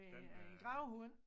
Ved en gravhund